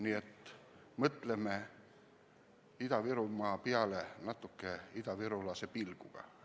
Nii et mõtleme Ida-Virumaa peale natukene idavirulase seisukohalt!